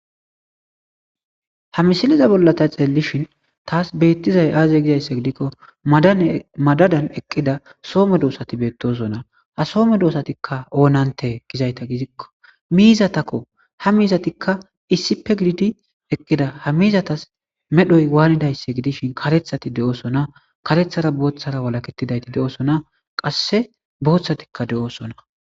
Ha misiliza bollata xeellishin taas beettizay aaze gizaysse gidikko dmadadan eqqida soome doosati beettosona ha soome doosatikka oonante gizayta gizikko miizatakko ha miizatikka iisipe gidi eqqida ha miizatas medhoy waanidaysse gidishin katethati de7osona katethara booththara walaketidayti de.oosona qasse booththatikka de,oosona.